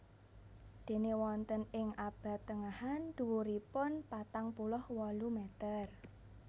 Déné wonten ing abad tengahan dhuwuripun patang puluh wolu meter